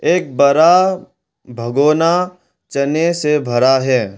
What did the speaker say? एक बरा भगोना चने से भरा है।